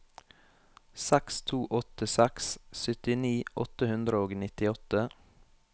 seks to åtte seks syttini åtte hundre og nittiåtte